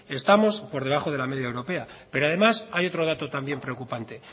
estamos por debajo de la media europea pero además hay otro dato también preocupante